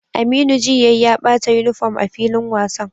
Aminu ji yayi ya bata uniform a filin wasan